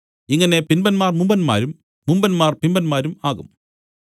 ഇങ്ങനെ പിമ്പന്മാർ മുമ്പന്മാരും മുമ്പന്മാർ പിമ്പന്മാരും ആകും